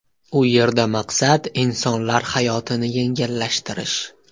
U yerda maqsad insonlar hayotini yengillashtirish.